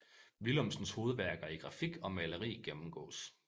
Willumsens hovedværker i grafik og maleri gennemgås